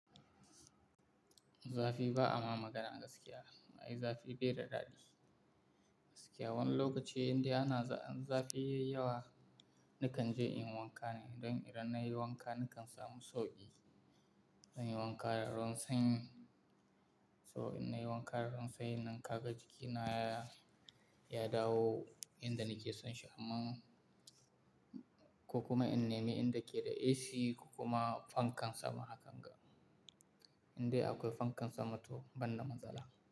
Zafi ba ama magana gaskiya, ai zafi bai da daɗi. Gaskiya wani lokaci inda ana zafi yayi yawa, nakan je in yi wanka ne don idan nayi wanka nakan samu sauƙi. Zan yi wanka da ruwan sanyi, so in nayi wanka da ruwan sanyi nan kaga jikina ya dawo inda nake son shi amma ko kuma in neme inda ke da AC ko kuma fankan sama hakan ga. Indai akwai fankan sama to ban da matsala.